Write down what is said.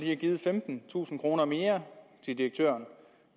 have givet femtentusind kroner mere til direktøren